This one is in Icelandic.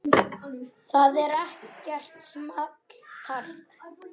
Það er ekkert small talk.